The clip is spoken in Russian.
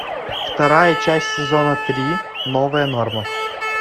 вторая часть сезона три новая норма